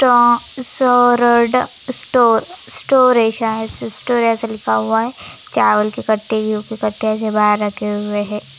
टों सरड store store है शायद से स्टोअर ऐसा लिखा हुआ है चावल के कट्टे गेहूं के कट्टे ऐसे बाहर रखे हुए हैं।